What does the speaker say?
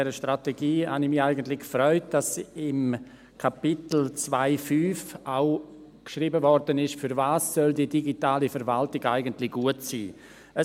Beim Lesen dieser Strategie habe ich mich eigentlich gefreut, dass im Kapitel 2.5 auch geschrieben wurde, wofür die digitale Verwaltung eigentlich gut sein soll.